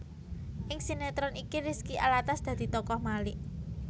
Ing sinetron iki Rizky Alatas dadi tokoh Malik